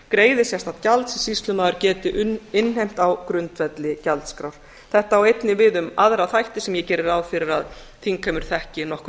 greiði sérstakt gjald sem sýslumaður geti innheimt á grundvelli gjaldskrár þetta á einnig við um aðra þætti sem ég geri ráð fyrir að þingheimur þekki nokkuð